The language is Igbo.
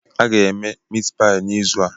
Ha ga-eme mitipayi n'izu a.